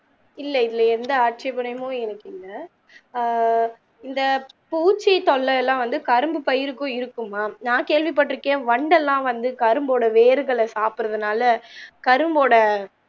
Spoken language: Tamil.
இல்ல இல்ல எந்த ஆட்சேபனமும் எனக்கு இல்ல ஆஹ் இந்த பூச்சி தொல்லயெல்லாம் வந்து கரும்பு பயிருக்கும் இருக்குமாம் நான் கேள்வி பட்டிருக்கேன் வண்டெல்லாம் வந்து கரும்போட வேர்கள ஆப்பிட்ற தாள கரும்போட